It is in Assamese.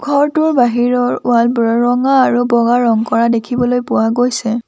ঘৰটোৰ বাহিৰৰ ৱাল বোৰৰ ৰঙা আৰু বগা ৰং কৰা দেখিবলৈ পোৱা গৈছে।